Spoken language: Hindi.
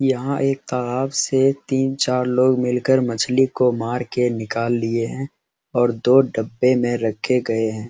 यहाँ एक ताआब से तीन-चार लोग मिल कर मछली को मर के निकाल लिए हैं और दो डब्बे में रखे गए हैं।